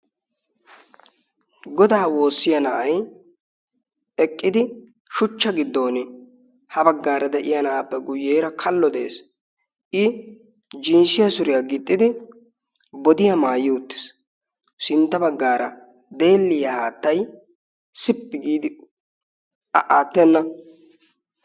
Godaa woossiya na'ay eqqidi shuchcha giddon ha baggaara de'iya na'aappe guyyeera kallo de'ees. i jinsshiya suriyaa gixxidi bodiyaa maayyi uttiis sintta baggaara deelliyaa aattai sippi giidi aattenna